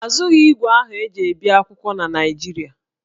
A zụghị ígwè ahụ e ji ebi akwụkwọ na Naịjirịa